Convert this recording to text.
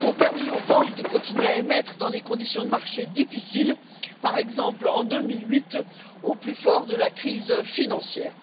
ont permis aux banques de continuer à émettre dans des conditions de marché difficiles, par exemple en 2008 au plus fort de la crise financière.